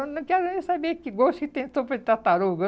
Eu não quero nem saber que gosto que tem de sopa de tartaruga.